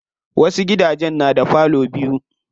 Wasu gidajen na da parlor biyu.